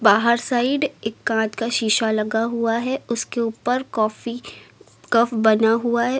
बाहर साइड एक कांच का शीशा लगा हुआ है उसके ऊपर काॅफी कप बना हुआ है।